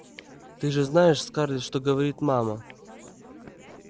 ты же знаешь скарлетт что говорит мама